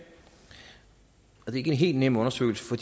og det er ikke en helt nem undersøgelse for